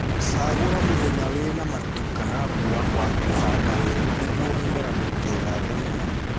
Cagũla mũthenya wĩna matu kana mburã wa kũhanda werũ nĩguo mũmera ndũkegathe mũno